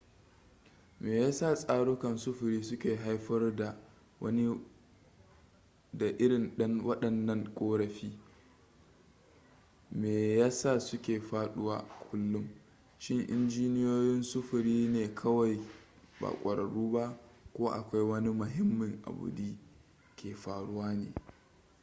me yasa tsarukan sufuri su ke haifar da irin waɗannan ƙorafi me ya sa suke faɗuwa a kullum shin injiniyoyin sufuri ne kawai ba ƙwararru ba ko akwai wani mahimmin abu di ke faruwa ne